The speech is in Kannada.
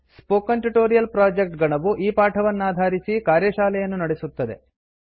ಸ್ಪೋಕನ್ ಟ್ಯುಟೋರಿಯಲ್ ಪ್ರಾಜೆಕ್ಟ್ ಗಣವು ಈ ಪಾಠವನ್ನಾಧಾರಿಸಿ ಕಾರ್ಯಶಾಲೆಯನ್ನು ನಡೆಸುತ್ತದೆ